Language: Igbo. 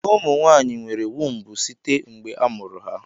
Ụmụ nwaanyị nwere wumbu site mgbe a mụrụ ha.